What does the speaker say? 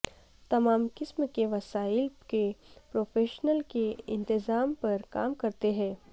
تمام قسم کے وسائل کے پروفیشنل کے انتظام پر کام کرتے ہیں